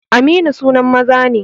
Aminu sunan maza ne